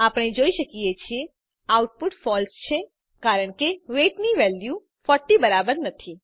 આપણે જોઈ શકીએ છીએ આઉટપુટ ફળસે છે કારણ કે વેઇટ ની વેલ્યુ 40 બરાબર નથી